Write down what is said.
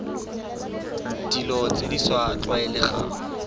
dilo tse di sa tlwaelegang